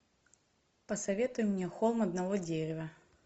посоветуй мне холм одного дерева